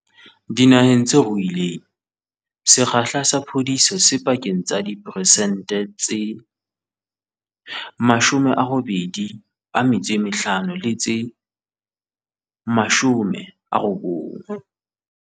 Dinaheng tse ruileng, sekgahla sa phodiso se pakeng tsa diphesente tse 85 le tse 90.